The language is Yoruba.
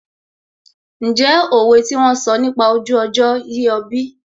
Ǹjẹ́ òwe tí wón sọ nípa ojú ọjọ́ yé ọ bí?